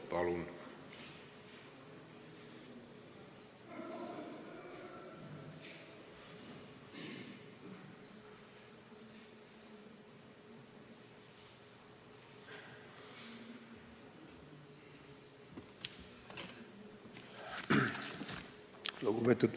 Palun!